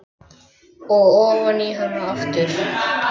Og ofan í hana aftur.